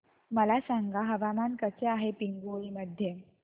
मला सांगा हवामान कसे आहे पिंगुळी मध्ये